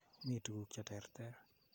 Mi tuguk che terter.